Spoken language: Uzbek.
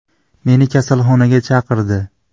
Meni kasalxonaga chaqirdi.